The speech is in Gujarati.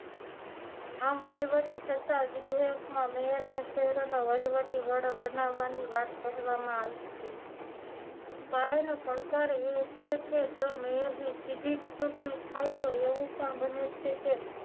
આમ વહીવટી છતાં વિદેશમાં મેયરને શહેરોનો વહીવટી વડો બનાવવાની વાત કહેવામાં આવી છે પાયાનો પડકાર એ છે કે જો મેયરની સીધી જ ચૂંટણી થાય તો એવું પણ બને છે કે